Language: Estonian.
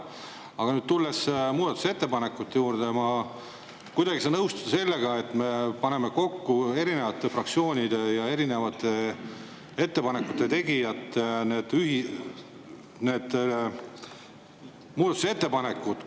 Aga tulles muudatusettepanekute juurde, ma kuidagi ei saa nõustuda sellega, et me paneme kokku erinevate fraktsioonide ja erinevate muudatusettepanekud.